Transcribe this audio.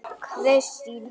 Kristín Hulda.